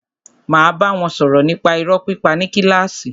Máa bá wọn sọ̀rọ̀ nípa irọ́ pípa ní kílàsì.